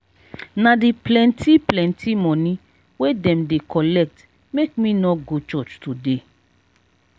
na di plenty plenty moni wey dem dey collect make me no go church today.